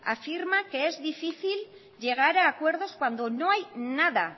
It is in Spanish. afirma que es difícil llegar a acuerdos cuando no hay nada